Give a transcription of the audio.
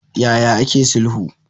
Ya ya ake sulhu?